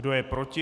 Kdo je proti?